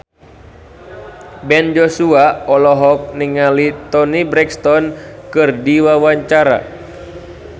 Ben Joshua olohok ningali Toni Brexton keur diwawancara